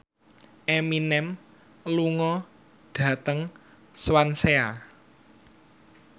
Eminem lunga dhateng Swansea